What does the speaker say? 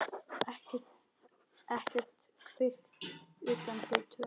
Ekkert kvikt utan þau tvö.